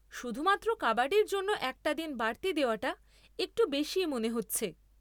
শুধুমাত্র কাবাডির জন্য একটা দিন বাড়তি দেওয়াটা একটু বেশিই মনে হচ্ছে।